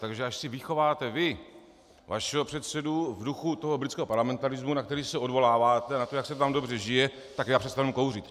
Takže až si vychováte vy vašeho předsedu v duchu toho britského parlamentarismu, na který se odvoláváte, na to, jak se tam dobře žije, tak já přestanu kouřit.